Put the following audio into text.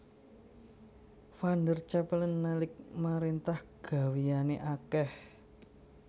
Van der Capellen nalik maréntah gawéyané akèh